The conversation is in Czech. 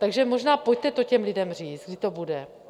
Takže možná pojďte to těm lidem říct, kdy to bude.